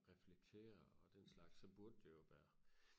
reflektere og den slags så burde det jo være